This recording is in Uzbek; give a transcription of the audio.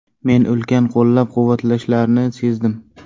Men ulkan qo‘llab-quvvatlashlarni sezdim.